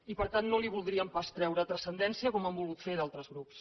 i per tant no li voldríem pas treure transcendència com han volgut fer altres grups